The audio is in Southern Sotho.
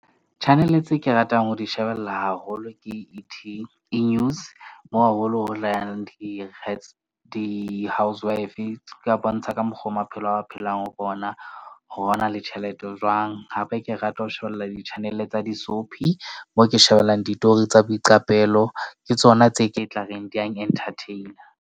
Channel-e tse ke ratang ho di shebella haholo ke E news mo haholo ho di housewive ka bontsha ka mokgwa o maphelo a phelang ho bona. Ho ba ne le tjhelete ho jwang. Hape ke rata ho shebella di-channel-e tsa di-soapie moo ke shebellang ditori tsa boiqapelo. Ke tsona tse ke tla reng di yang entertain-a.